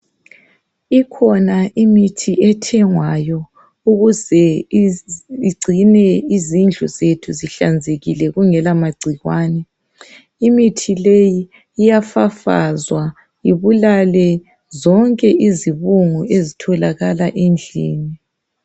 Ikhona imithi ethengwayo ukuze igcine izindlu zethu zihlanzekile zingela magciwane. Imithi le iyafafazwa ibulale zonke izibungu esitholakala endlini.